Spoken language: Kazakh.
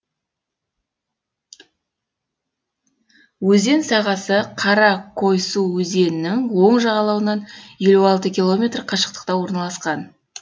өзен сағасы кара койсу өзенінің оң жағалауынан елу алты километр қашықтықта орналасқан